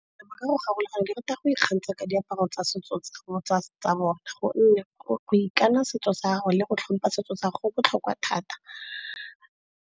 Ka go ke rata go ikgantsha ka diaparo tsa setso tsa bone. Gonne go ikana setso sa gago le go tlhompha setso tsa go botlhokwa thata.